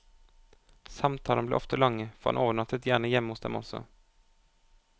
Samtalene ble ofte lange, for han overnattet gjerne hjemme hos dem også.